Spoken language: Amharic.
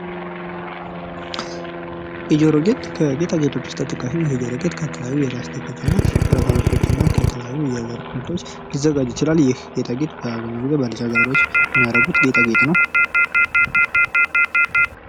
የጆሮ ጌጥ ከጌጣጌጥ ውስጥ ተጠቃሽ ነው ። ይህ ዶሮ ጌጥ ከተለያዩ የላስቲኮች እና ብረታ ብረቶች እና ከተለያዩ የወርቅ ምርቶች ሊዘጋጅ ይችላል ። ይህ ጌጣጌጥ በአብዛኛው ጊዜ በልጃረዶች የሚያደርጉት ጌጣጌጥ ነው ።